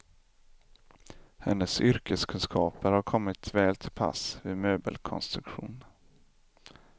Hennes yrkeskunskaper har kommit väl till pass vid möbelkonstruktion.